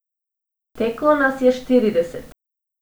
Teklo nas je štirideset.